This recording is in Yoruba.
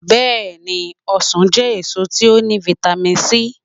Beeni, osan je eso ti o ni vitami sii